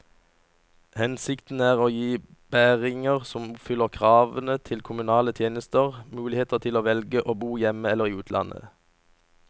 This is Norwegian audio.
Hensikten er å gi bæringer som oppfyller kravene til kommunale tjenester, mulighet til å velge å bo hjemme eller i utlandet.